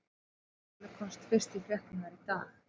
Málið komst fyrst í fréttirnar í dag.